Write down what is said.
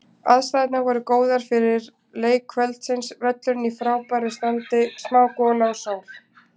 Aðstæðurnar voru góðar fyrir leik kvöldsins, völlurinn í frábæra standi, smá gola og sól.